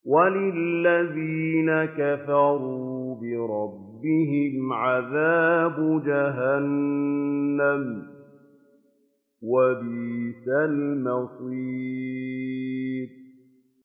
وَلِلَّذِينَ كَفَرُوا بِرَبِّهِمْ عَذَابُ جَهَنَّمَ ۖ وَبِئْسَ الْمَصِيرُ